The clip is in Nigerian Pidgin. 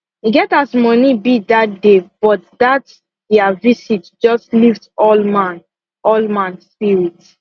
e get as money be dat day but dat dia visit just lift all man all man spirit